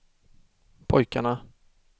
pojkarna